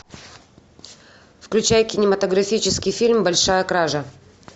включай кинематографический фильм большая кража